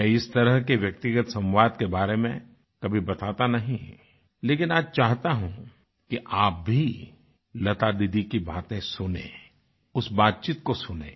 मैं इस तरह के व्यक्तिगत संवाद के बारे में कभी बताता नहीं लेकिन आज चाहता हूँ कि आप भी लता दीदी की बातें सुनें उस बातचीत को सुनें